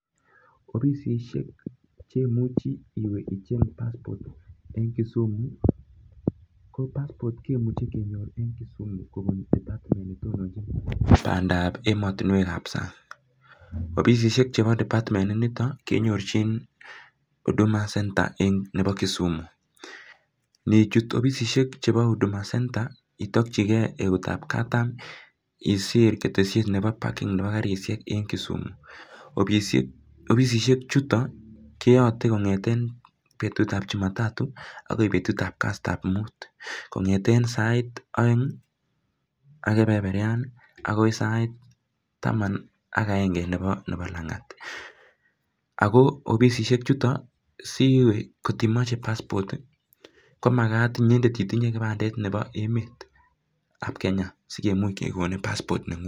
Tos ofice ngiro nemuch awa achenge passport ing Kisumu?